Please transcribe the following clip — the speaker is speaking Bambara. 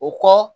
O kɔ